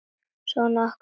Svona okkar á milli.